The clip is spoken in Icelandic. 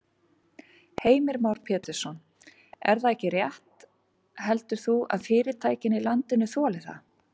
Heimir Már Pétursson: Ef það er rétt heldur þú að fyrirtækin í landinu þoli það?